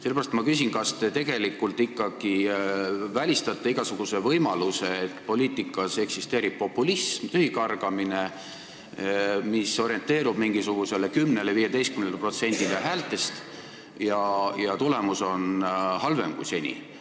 Sellepärast ma küsin, kas te tegelikult ikkagi välistate igasuguse võimaluse, et poliitikas eksisteerib populism, tühikargamine, mis orienteerub mingisugusele 10–15%-le häältest ja tulemus on halvem kui seni.